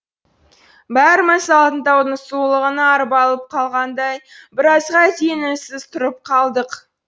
бәріміз алтын таудың сұлулығына арбалып қалғандай біразға дейін үнсіз тұрып қалдық